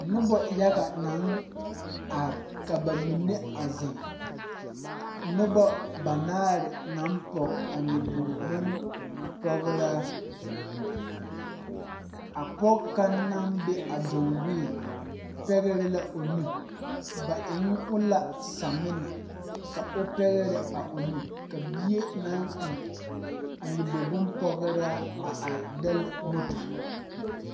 Nobɔ yaga naŋ are ka ba mine a zeŋ nobɔ banaare naŋ pɔg a nyobog bonpɔgraa a pɔge kaŋ naŋ be a danwiɛ pɛgrɛ la o nu ba eŋ o la saminɛ ka o pɛgrɛ a o nu bie naŋ eŋ a nyogbog bonpɔgraa a are dɛlle moto.